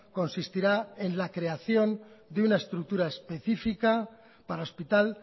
consistirá en la creación de una estructura específica para hospital